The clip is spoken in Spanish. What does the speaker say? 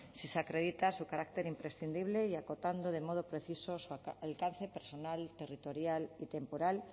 si se acredita su carácter imprescindible y acotando de modo preciso el alcance personal territorial y temporal